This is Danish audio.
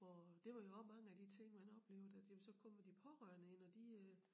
Hvor det var jo også mange af de ting man oplevede at jamen så kommer de pårørende ind og de øh